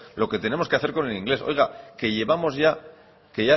lo que tenemos que hacer con el inglés oiga que llevamos ya que